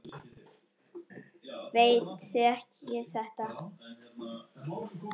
Veit þið þekkið þetta.